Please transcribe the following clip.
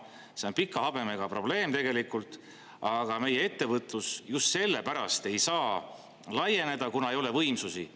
See on pika habemega probleem tegelikult, aga meie ettevõtlus just sellepärast ei saa laieneda, kuna ei ole võimsusi.